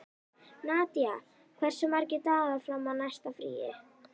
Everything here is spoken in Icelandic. Nadia, hversu margir dagar fram að næsta fríi?